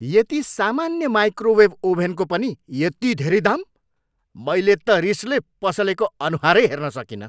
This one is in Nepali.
यति सामान्य माइक्रोवेभ ओभेनको पनि यति धेरै दाम? मैले त रिसले पसलेको अनुहारै हेर्न सकिनँ।